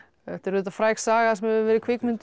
þetta er auðvitað fræg saga sem hefur verið kvikmynduð